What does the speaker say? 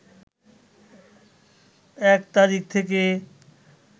১ তারিখ থেকে